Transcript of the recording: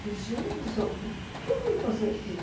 Fiz, gente do céu, o que que eu vim fazer aqui?